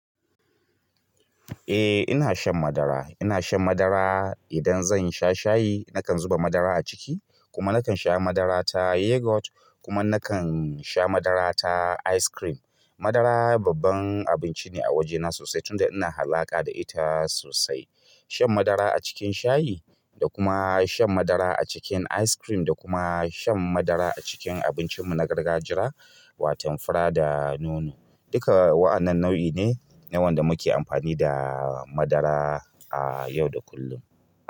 Eh ina shan madara, ina shan madara idan zan sha shayi nakan zuba madara a ciki kuma nakan sha madara ta yogurt kuma nakan sha madara ta ice cream. Madara babban abinci ne a wajena sosai tunda ina alaƙa da ita sosai. Shan madara a cikin shayi da kuma shan madara a cikin ice cream da kuma shan madara a cikin abincinmu na gargajiya waton fura da nono. Duka wa'annan nau'i ne ne wanda muke amfani da madara a yau da kullum.